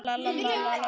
Ágústus lét gera við